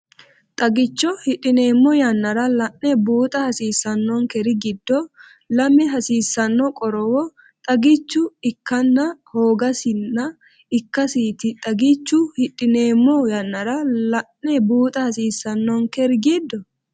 Xagicho hidhineemmo yannara la’ne buuxa hasiissannonkeri giddo lame hasiissanno qorowo xagichu ikkanna hoogasinna ikkasiiti Xagicho hidhineemmo yannara la’ne buuxa hasiissannonkeri giddo.